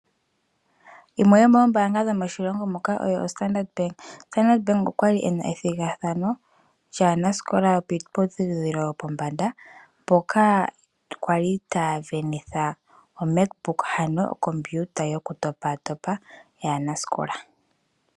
Yimwe yomoombaanga yomoshilongo muka oyo oStandard Bank. Standard Bank okwali ena ethigathano lyaanasikola yokiiputudhilo yopombanda, mpoka kwali taya sindanitha omac book, ano okompiuta yoku topaatopa yaanasikola.